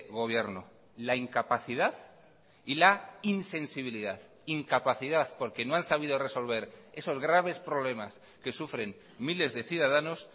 gobierno la incapacidad y la insensibilidad incapacidad porque no han sabido resolver esos graves problemas que sufren miles de ciudadanos